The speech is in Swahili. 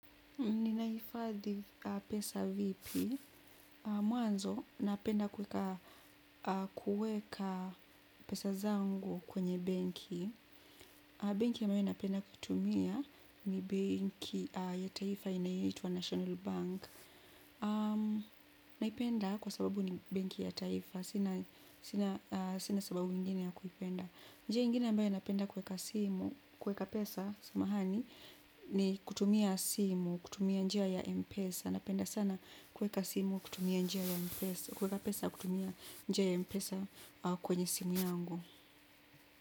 Ninahifadhi pesa vipi? Mwanzo napenda kuweka pesa zangu kwenye benki. Benki ambayo napenda kutumia ni benki ya taifa inayoitwa National Bank. Naipenda kwa sababu ni banki ya taifa. Sina sababu ingine ya kuipenda. Njia ingine ambayo napenda kuweka simu, kuweka pesa samahani, ni kutumia simu, kutumia njia ya mpesa, napenda sana kuweka simu, kutumia njia ya mpesa, kuweka pesa kutumia njia ya mpesa, kwenye simu yangu.